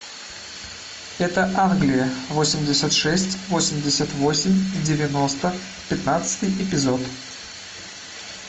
это англия восемьдесят шесть восемьдесят восемь девяносто пятнадцатый эпизод